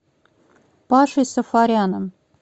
пашей сафаряном